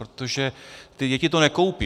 Protože ty děti to nekoupí.